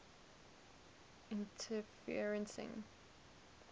interferencing